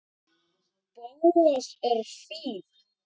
Bóas er fínn.